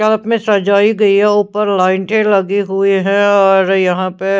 कल्प में सजाई गई है ऊपर लाइटें लगी हुई है और यहां पे--